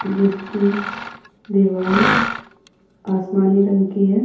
जिसकी दीवाल आसमानी रंग की है --